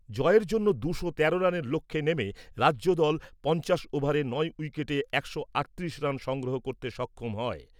জয়ের জন্য দুশো তেরো রানের লক্ষ্যে নেমে রাজ্যদল পঞ্চাশ ওভারে নয় উইকেটে একশো আটত্রিশ রান সংগ্রহ করতে সক্ষম হয়।